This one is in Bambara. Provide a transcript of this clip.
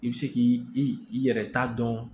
I bɛ se k'i i yɛrɛ ta dɔn